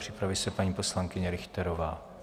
Připraví se paní poslankyně Richterová.